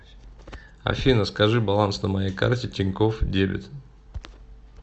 афина скажи баланс на моей карте тинькофф дебет